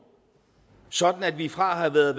sådan at vi fra at have været